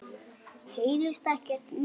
Heyrist ekkert meira.